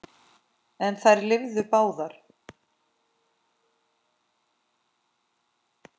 En þær lifðu báðar.